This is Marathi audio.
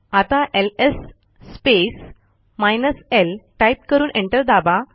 आता एलएस स्पेस l टाईप करून एंटर दाबा